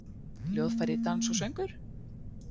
Hljóðfæri, dans og söngur?